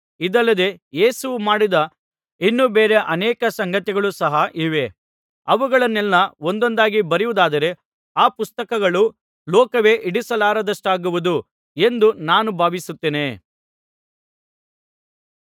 ಇದಲ್ಲದೆ ಯೇಸುವು ಮಾಡಿದ ಇನ್ನೂ ಬೇರೆ ಅನೇಕ ಸಂಗತಿಗಳು ಸಹ ಇವೆ ಅವುಗಳನ್ನೆಲ್ಲಾ ಒಂದೊಂದಾಗಿ ಬರೆಯುವುದಾದರೆ ಆ ಪುಸ್ತಕಗಳು ಲೋಕವೇ ಹಿಡಿಸಲಾರದಷ್ಟಾಗುವುದು ಎಂದು ನಾನು ಭಾವಿಸುತ್ತೇನೆ